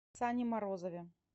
сане морозове